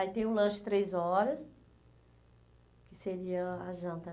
Aí tem o lanche três horas, que seria a janta.